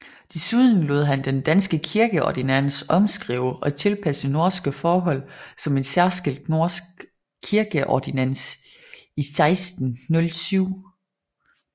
Desuden lod han den danske kirkeordinans omskrive og tilpasse norske forhold som en særskilt norsk kirkeordinans i 1607